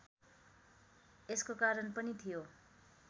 यसको कारण पनि थियो